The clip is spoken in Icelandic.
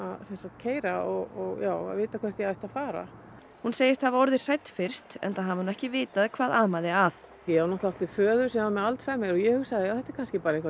keyra og vita hvert ég ætti að fara hún segist hafa orðið hrædd fyrst enda hafi hún ekki vitað hvað amaði að ég átti föður sem var með Alzheimer og ég hugsaði þetta er kannski eitthvað